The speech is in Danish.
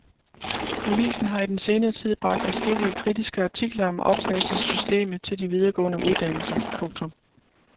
Avisen har i den senere tid bragt adskillige kritiske artikler om optagelsessystemet til de videregående uddannelser. punktum